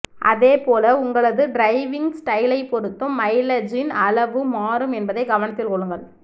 அதே போல உங்களது டிரைவ்விங் ஸ்டைலை பொருத்தும் மைலஜின் அளவு மாறும் என்பதை கவனத்தில் கொள்ளுங்கள்